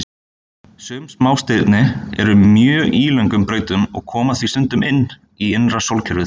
Sum smástirni eru á mjög ílöngum brautum og koma því stundum inn í innra sólkerfið.